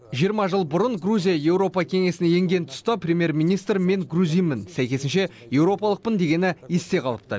жиырма жыл бұрын грузия еуропа кеңесіне енген тұста премьер министр мен грузинмін сәйкесінше еуропалықпын дегені есте қалыпты